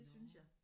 Det synes jeg